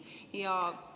Aitäh, hea kolleeg!